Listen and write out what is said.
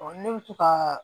ne bɛ to ka